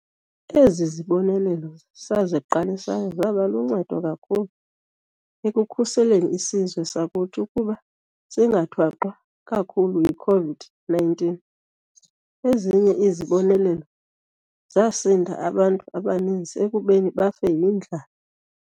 Ezi zibonelelo saziqalisayo zaba luncedo kakhulu ekukhuseleni isizwe sakuthi ukuba singathwaxwa kakhulu yi-COVID-19. Ezinye izibonelelo zasindisa abantu abaninzi ekubeni bafe yindlala.